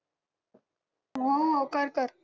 हा कर कर